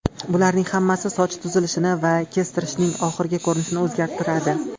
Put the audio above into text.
Bularning hammasi soch tuzilishini va kestirishning oxirgi ko‘rinishini o‘zgartiradi.